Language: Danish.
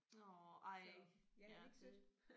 Nåh ej ja det